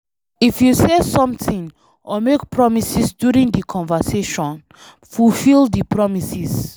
If you say something or make promises during di conversation, fulfill di promises